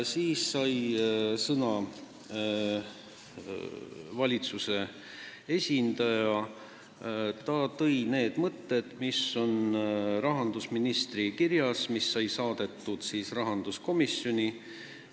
Siis sai sõna valitsuse esindaja, kes kordas neid mõtted, mis on kirjas Rahandusministeeriumi kirjas rahanduskomisjonile.